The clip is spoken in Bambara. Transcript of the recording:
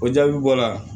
O jaabi bɔra